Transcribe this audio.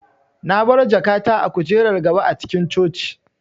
Na baro jakata a kujerar gaba a cikin coci